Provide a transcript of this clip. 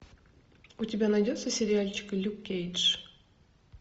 у тебя найдется сериальчик люк кейдж